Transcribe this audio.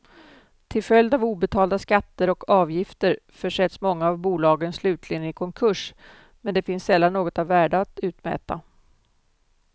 Till följd av obetalda skatter och avgifter försätts många av bolagen slutligen i konkurs, men det finns sällan något av värde att utmäta.